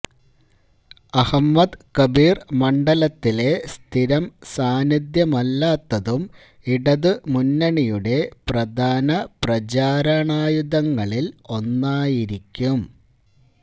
അഹമ്മദ് കബീര് മണ്ഡലത്തിലെ സ്ഥിരം സാന്നിദ്ധ്യമല്ലാത്തതും ഇടതുമുന്നണിയുടെ പ്രധാന പ്രചാരണായുധങ്ങളില് ഒന്നായിരിയ്ക്കും